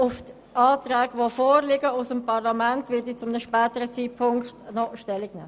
Zu Anträgen, die aus dem Parlament erfolgten, werde ich zu einem späteren Zeitpunkt noch Stellung beziehen.